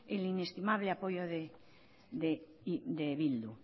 el inestimable apoyo de bildu